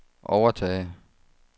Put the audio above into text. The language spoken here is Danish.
overtage